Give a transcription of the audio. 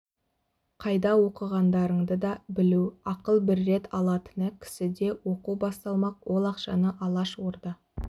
қайда оқығандарыңды да білу ақыл бір рет алатыны кісіде оқу басталмақ ол ақшаны алаш орда